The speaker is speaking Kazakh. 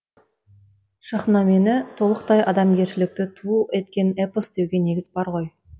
шахнамені толықтай адамгершілікті ту еткен эпос деуге негіз бар ғой